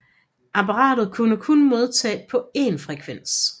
Apparatet kunne kun modtage på én frekvens